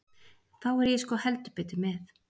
Þá er ég sko heldur betur með.